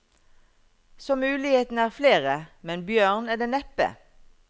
Så mulighetene er flere, men bjørn er det neppe.